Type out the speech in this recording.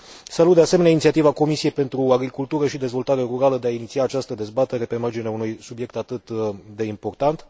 Salut, de asemenea, inițiativa Comisiei pentru agricultură și dezvoltare rurală de a iniția această dezbatere pe marginea unui subiect atât de important.